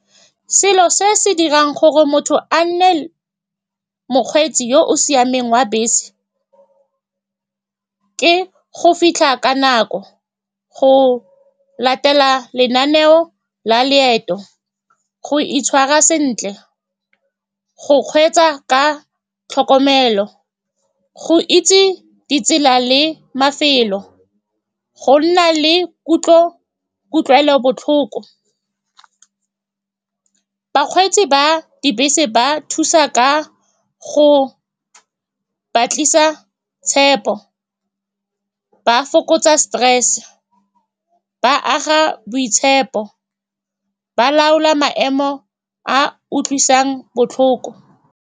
Selo se se dirang gore motho a nne mokgweetsi yo o siameng wa bese ke go fitlha ka nako, go latela lenaneo la loeto, go itshwara sentle, go kgweetsa ka tlhokomelo, go itse ditsela le mafelo, go nna le kutlo, kutlwelobotlhoko. Bakgweetsi ba dibese ba thusa ka go ba tlisa tshepo, ba fokotsa stress-e, ba aga boitshepo, ba laola maemo a a utlwisang botlhoko.